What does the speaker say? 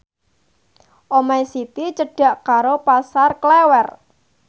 omahe Siti cedhak karo Pasar Klewer